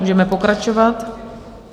Můžeme pokračovat.